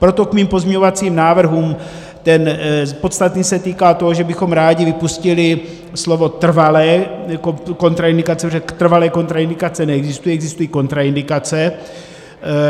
Proto k mým pozměňovacím návrhům - ten podstatný se týká toho, že bychom rádi vypustili slovo trvalé kontraindikace, protože trvalé kontraindikace neexistují, existují kontraindikace.